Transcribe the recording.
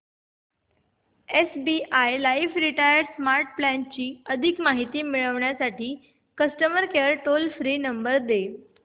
SBI life retire smart plan ची अधिक माहिती मिळविण्यासाठी customer care toll free number दे